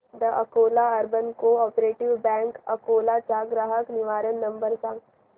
the Akola urban cooperative bank Akola चा ग्राहक निवारण नंबर सांग